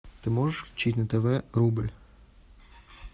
ты можешь включить на тв рубль